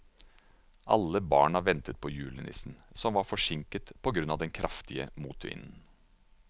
Alle barna ventet på julenissen, som var forsinket på grunn av den kraftige motvinden.